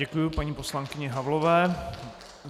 Děkuji paní poslankyni Havlové.